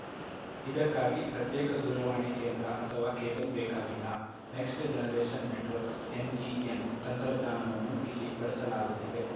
ಇದಕ್ಕಾಗಿ ಪ್ರತ್ಯೇಕ ದೂರವಾಣಿ ಕೇಂದ್ರ ಅಥವಾ ಕೇಬಲ್‌ ಬೇಕಾಗಿಲ್ಲ ನೆಕ್ಸ್ಟ್‌ಜನರೇಷನ್‌ ನೆಟ್‌ವರ್ಕ್ಸ್‌ ಎನ್‌ಜಿಎನ್‌ ತಂತ್ರಜ್ಞಾನವನ್ನು ಇಲ್ಲಿ ಬಳಸಲಾಗುತ್ತಿದೆ